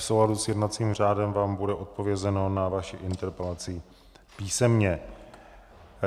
V souladu s jednacím řádem vám bude odpovězeno na vaši interpelaci písemně.